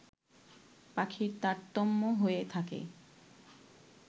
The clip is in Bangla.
পাখির তারতম্য হয়ে থাকে